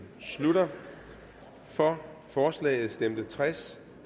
slutter for forslaget stemte tres